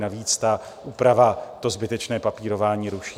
Navíc ta úprava to zbytečné papírování ruší.